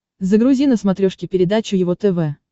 загрузи на смотрешке передачу его тв